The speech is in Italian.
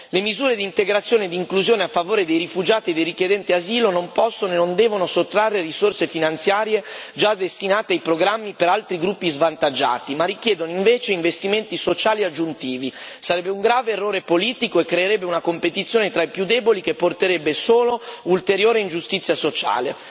Le misure di integrazione e inclusione a favore dei rifugiati e dei richiedenti asilo non possono e non devono sottrarre risorse finanziarie già destinate ai programmi per altri gruppi svantaggiati, ma richiedono invece investimenti sociali aggiuntivi sarebbe un grave errore politico e creerebbe una competizione tra i più deboli, che comporterebbe solo ulteriore ingiustizia sociale.